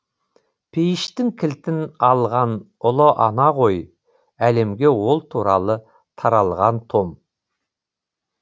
пейіштің кілтін алған ұлы ана ғой әлемге ол туралы таралған том